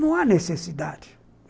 Não há necessidade.